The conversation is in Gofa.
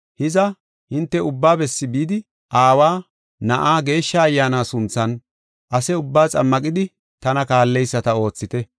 Hiza, hinte ubba bessi bidi, Aawa, Na7aa, Geeshsha Ayyaana sunthan ase ubbaa xammaqidi tana kaalleyisata oothite.